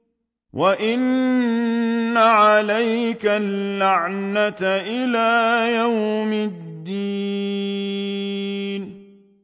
وَإِنَّ عَلَيْكَ اللَّعْنَةَ إِلَىٰ يَوْمِ الدِّينِ